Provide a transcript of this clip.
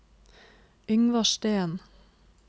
Yngvar Steen